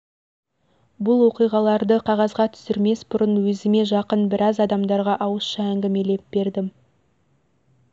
бұл оқиғаларды қағазға түсірмес бұрын өзіме жақын біраз адамдарға ауызша әңгімлееп бердім